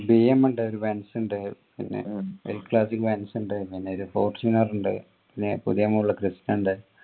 BM ഇണ്ട് ഒരു benz ഇണ്ട് പിന്നെ l classic benz ഇണ്ട് പിന്നെ fortuner ഇണ്ട് പിന്നെ ഇണ്ട്